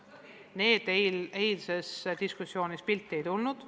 Need lapsed eilses diskussioonis pildile ei tulnud.